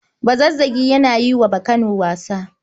Bazazzagi yana yi wa Bakano wasa.